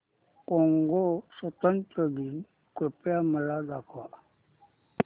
Congo स्वतंत्रता दिन कृपया मला दाखवा